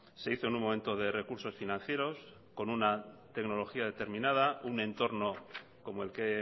se hizo en un momento de recursos financieros con una tecnología determinada un entorno comoel que he